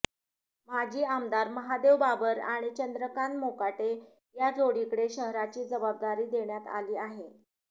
माजी आमदार महादेव बाबर आणि चंद्रकांत मोकाटे या जोडीकडे शहराची जबाबदारी देण्यात आली आहे